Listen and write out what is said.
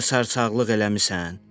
Nəcə də sarsaqılıq eləmisən.